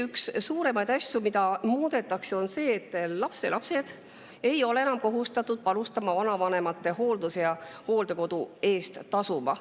Üks suuremaid asju, mida muudetakse, on see, et lapselapsed ei ole enam kohustatud panustama vanavanemate hooldusesse ja hooldekodu eest tasuma.